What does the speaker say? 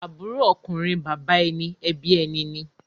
Àbúrò ọkùnrin bàbá ẹni ẹbí ẹni ni.